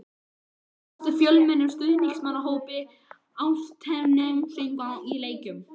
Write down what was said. Má búast við fjölmennum stuðningsmannahópi Álftnesinga á leiknum?